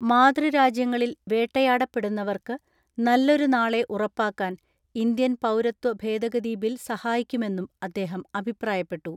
മാതൃരാജ്യങ്ങളിൽ വേട്ടയാടപ്പെടുന്നവർക്ക് നല്ലൊരു നാളെ ഉറപ്പാക്കാൻ ഇന്ത്യൻ പൗരത്വ ഭേദഗതി ബിൽ സഹായിക്കുമെന്നും അദ്ദേഹം അഭിപ്രായപ്പെട്ടു.